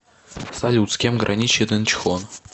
салют с кем граничит инчхон